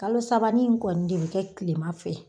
Kalo sabani in kɔni de kɛ tilema fɛ